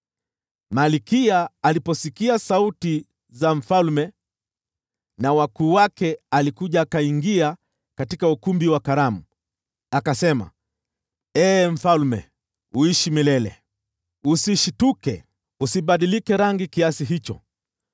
Malkia aliposikia sauti za mfalme na wakuu wake, alikuja katika ukumbi wa karamu. Akasema, “Ee mfalme, uishi milele! Usishtuke! Usibadilike rangi kiasi hicho!